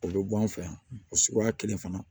O bɛ bɔ an fɛ yan o suguya kelen fana